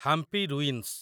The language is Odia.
ହାମ୍ପି ରୁଇନ୍ସ